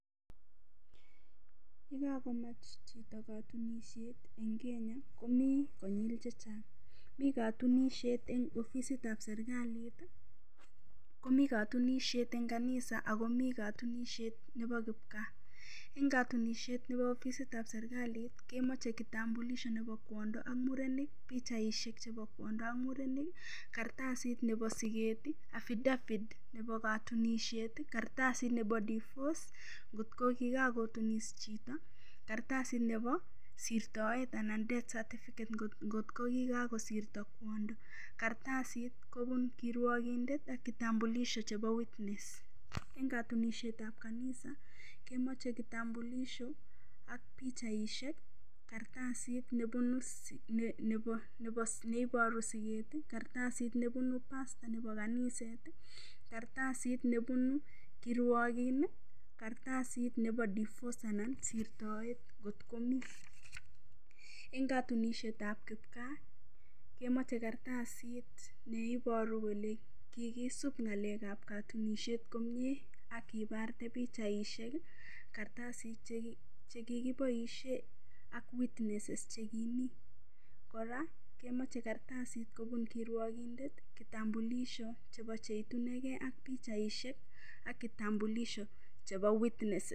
Ye kakomach chito katunishet eng Kenya komi konyul chechang' mi katunishet eng ofisitab serikalit komi katunishet eng kanisa akomii katunishet nebo kipkaa eng katunishet nebo ofisitab serikalit kemochei kitambulisho nebo kwondo ak murenik pikchaishek nebo kwondo ak murenik karatasit nebo siket affidavit nebo katunishet karatasit nebo divorce ngotkokikakotunis chito karatasit nebo sirtoet anan dead certificate ngotkokikasirto kwondo karatasit kobun kirwokindet kitambulisho chebo witness eng katunishetab kanisa kemochei kitambulisho[ ak pikchaishek karatasit neboiboru siket karatasit nebunu pastor nebo kaniset karatasit nebunu kirwokin karatasit nebo divorce anan ko sirtoet at komi eng katunishetab kipkaa kemochei karatasit neiboru kole kikisub ng'alekab katunishet komyee akiparte pikchaishek karatasit chekikiboishe ak witnesses chekimii kora kemochei karatasit kobun kirwokindet kitambulisho chebo cheitunigei ak pikchaishek ak kitambulisho chebo witnesses